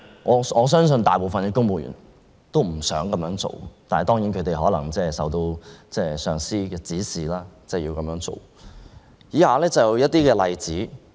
我相信大部分公務員都不想這樣做，但他們可能受到上司的指使而要這樣做。